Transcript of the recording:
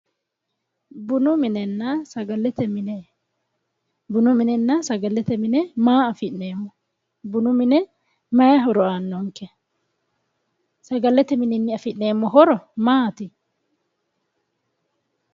Bunu minenna sagalete mine ,bunu minenna sagalete mine maa afi'neemmo, bunu mine maa afi'neemmo, sagalete, bunu mine mayi horo afi'neemmo, sagalete mine afi'neemmo horo maati ?